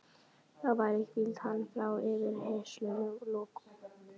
Þá væri hvíld hans frá yfirheyrslunum lokið.